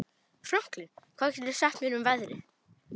Franklin, hvað geturðu sagt mér um veðrið?